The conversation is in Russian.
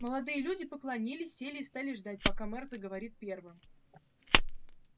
молодые люди поклонилась сели и стали ждать пока мэр заговорит первым